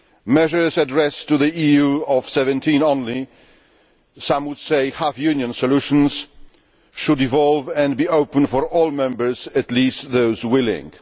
Measures addressed to the EU of 17 only some would say half union solutions should evolve and be open for all members, at least those which are willing.